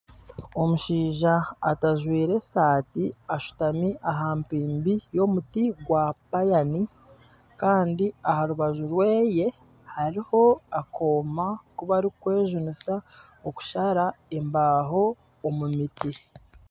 Omushaija atajwaire esaati ashutami aha mpimbi y'omuti gwa payani Kandi aharubaju rweye hariho akooma akubarikwejunisa okushara embaho omu miti.